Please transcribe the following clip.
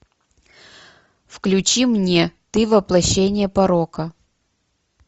включи мне ты воплощение порока